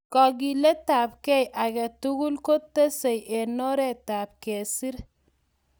Kakiletapkei age tugul ko tesei eng oretap kesir